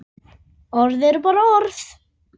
Orð eru bara orð.